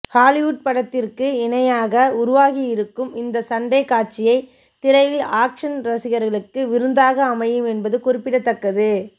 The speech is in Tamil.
ஹாலிவுட் படத்திற்கு இணையாக உருவாக்கியிருக்கும் இந்த சண்டைக் காட்சியை திரையில் ஆக்சன் ரசிகர்களுக்கு விருந்தாக அமையும் என்பது குறிப்பிடத்தக்கது